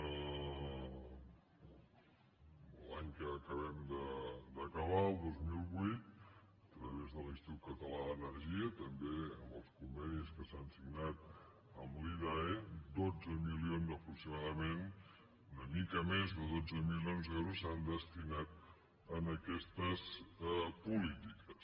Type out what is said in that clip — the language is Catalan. l’any que acabem d’acabar el dos mil vuit a través de l’institut català d’energia també amb els convenis que s’han signat amb l’idae dotze milions aproximadament una mica més de dotze mi·lions d’euros s’han destinat a aquestes polítiques